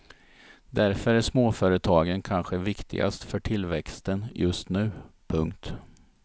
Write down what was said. Därför är småföretagen kanske viktigast för tillväxten just nu. punkt